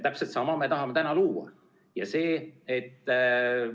Täpselt sama me tahame nüüd luua.